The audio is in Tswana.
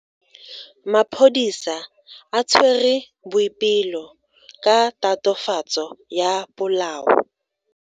Maphodisa a tshwere Boipelo ka tatofatso ya polao.